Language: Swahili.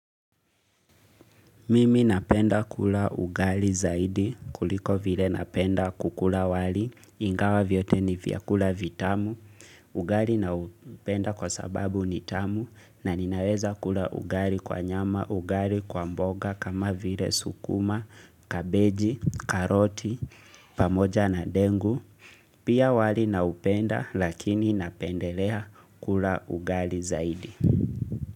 Mimi napenda kula ugali zaidi kuliko vile napenda kukula wali, ingawa vyote ni vyakula vitamu, ugali naupenda kwa sababu ni tamu na ninaweza kula ugali kwa nyama, ugali kwa mboga kama vile sukuma, kabeji, karoti, pamoja na dengu. Pia wali naupenda lakini napendelea kula ugali zaidi.